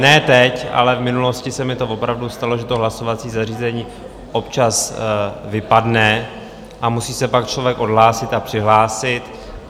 Ne teď, ale v minulosti se mi to opravdu stalo, že to hlasovací zařízení občas vypadne a musí se pak člověk odhlásit a přihlásit.